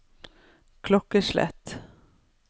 klokkeslett